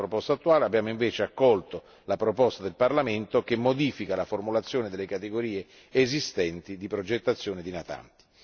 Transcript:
Nella proposta attuale abbiamo invece accolto la proposta del Parlamento che modifica la formulazione delle categorie esistenti di progettazione di natanti.